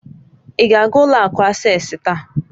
Ị ga-aga ụlọ akụ Asés taa?